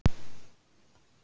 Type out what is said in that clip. Mógilsá